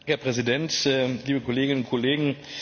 Herr Präsident, liebe Kolleginnen und Kollegen!